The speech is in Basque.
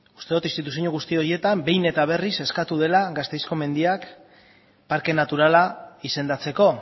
uste dut instituzio guzti horietan behin eta berriz eskatu dela gasteizko mendiak parke naturala izendatzeko